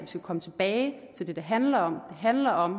skal komme tilbage til det det handler om det handler om